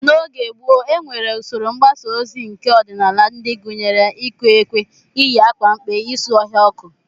N'oge gboo, e nwere usoro mgbasa ozi keọdịnala ndị gụnyere iku ekwe, iyi akwa mkpe, isu ọhịa ọkụ